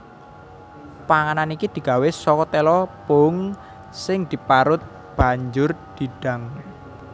Panganan iki digawé saka téla pohung sing diparut banjur didang